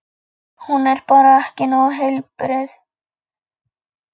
Hún er bara ekki nógu heilbrigð.